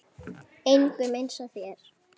Engum eins og þér.